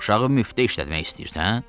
Uşağı müftə işlətmək istəyirsən?